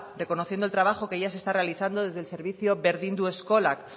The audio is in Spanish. reconociendo el trabajo que ya se está realizando desde el servicio berdindu eskolak